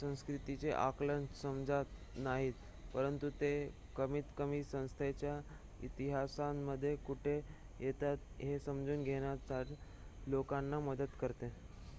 संस्कृतीचे आकलन समजत नाहीत परंतु ते कमीतकमी संस्थेच्या इतिहासामध्ये कुठे येतात हे समजून घेण्यात लोकांना मदत करते